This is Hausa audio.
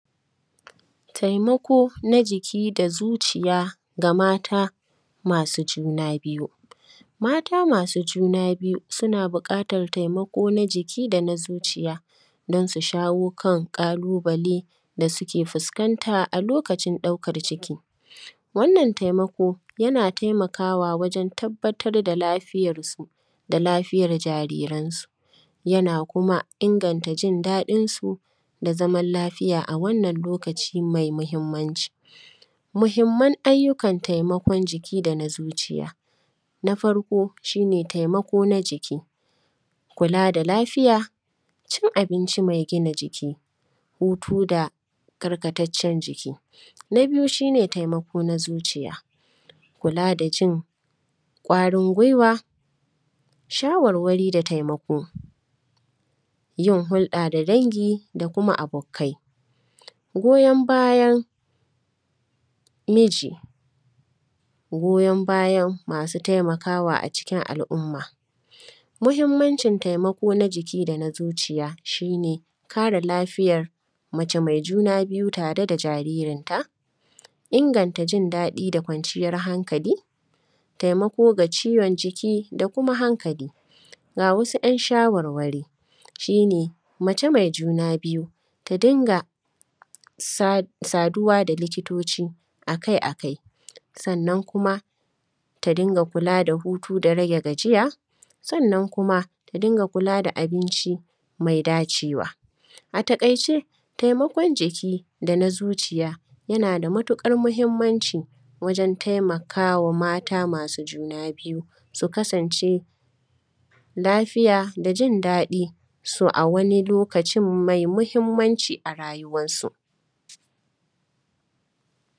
Taimako na jiki da zuciya ga mata masu juna biyu. Mata masu juna biyu, suna buƙatar taimako na jiki da na zuciya, don su shawo kan ƙalubale da suke fuskanta a lokacin ɗaukar ciki. Wannan taimako, yana taimakawa wajen tabbatar da lafiyarsu da lafiyar jariransu, yana kuma inganta jin daɗinsu da zamal lafiya a wannan lokaci mai mahimmanci. Mahimman ayyukan taimakon jiki da na zuciya, na farko, shi ne taimako na jiki, kula da lafiya, cin abinci mai gina jiki, hutu da karkataccen jiki. Na biyu, shi ne taimako na zuciya, kula da jin ƙwarin gwiwa, shawarwari da taimako, yin hulɗa da dangi da kuma abukkai. Goyon bayan miji, goyon bayan masu taimakawa a cikin al’umma. Muhimmancin taimako na jiki da na zuciya, shi ne kare lafiyar mace mai juna biyu tare da jaririnta, inganta jin daɗi da kwanciyar hankali, taimako ga ciwon jiki da kuma hankali. Ga wasu ‘yan shawarwari, shi ne mace mai juna biyu, ta dinga sa; saduwa da likitoci a kai a kai. Sannan kuma, ta dinga kula da hutu da rage gajiya, sannan kuma, ta dinga kula da abinci mai dacewa. A taƙaice, taimakon jiki da na zuciya, yana da matuƙar muhimmanci wajen taimaka wa mata masu juna biyu, su kasance lafiya da jin daɗi, “so” a wani lokacin mai muhimmanci a rayuwassu